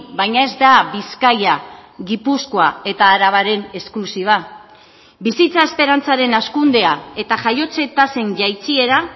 baina ez da bizkaia gipuzkoa eta arabaren esklusiba bizitza esperantzaren hazkundea eta jaiotze tasen jaitsiera